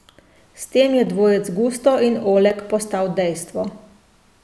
S tem je dvojec Gusto in Oleg postal dejstvo.